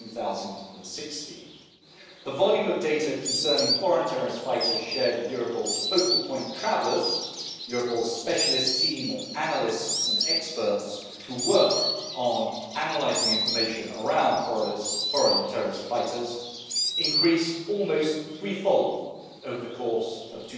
2016. The volume of data concerning foreign terrorist fighters shared with Europol's Focal Point Travellers Europol's specialist team of analysts and experts who work on analysing information around foreign terrorist fighters increased almost threefold over the course of